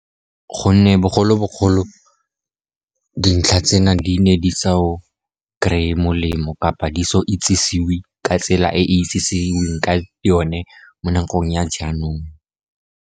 Gonne bogologolo dintlha tsena di ne di sa o kry-e molemo kgotsa di sa itsisiwe ka tsela e e itsisiwe ka yone mo nakong ya jaanong.